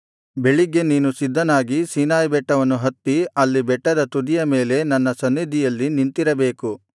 ಬೆಳಿಗ್ಗೆ ನೀನು ಸಿದ್ಧನಾಗಿ ಸೀನಾಯಿ ಬೆಟ್ಟವನ್ನು ಹತ್ತಿ ಅಲ್ಲಿ ಬೆಟ್ಟದ ತುದಿಯ ಮೇಲೆ ನನ್ನ ಸನ್ನಿಧಿಯಲ್ಲಿ ನಿಂತಿರಬೇಕು